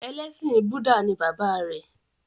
Ẹlẹ́sìn Búdà ni bàbá rẹ̀.